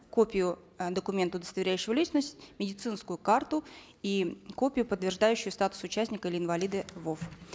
копию э документа удостоверяющего личность медицинскую карту и копию подтверждающую статус участника или инвалида вов